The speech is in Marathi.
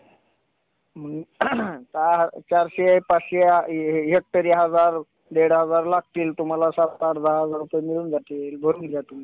चला तर मग पाहूया, पाण्याचे महत्व